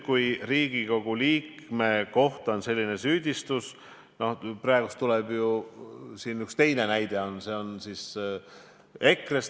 Kui aga Riigikogu liikme kohta on selline süüdistus praegu kõlanud, siis üks teine näide oli ju EKRE esindaja kohta.